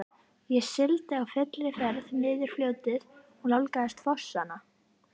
Ég sigldi á fullri ferð niður fljótið og nálgaðist fossana.